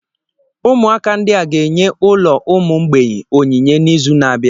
Ụmụaka ndị a ga-enye ụlọ ụmụ mgbei onyinye n'izu na-abịa.